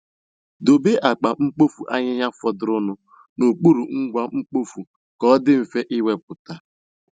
Debe akpa mkpofu ahịhịa fọdụrụnụ n'okpuru ngwa mkpofu, ka ọ dị mfe ị wepụta